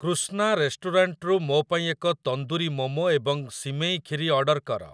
କୃଷ୍ନା ରେଷ୍ଟୁରାଣ୍ଟ୍‌ରୁ ମୋ ପାଇଁ ଏକ ତନ୍ଦୁରି ମୋମୋ ଏବଂ ସିମେଇ ଖିରି ଅର୍ଡର କର